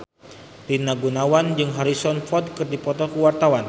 Rina Gunawan jeung Harrison Ford keur dipoto ku wartawan